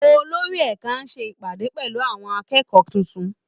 Olórí ẹ̀ka á ṣe ìpàdé pẹ̀lú àwọn akẹ́kọ̀ọ́ tuntun